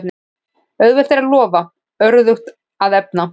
Auðvelt er að lofa, örðugt að efna.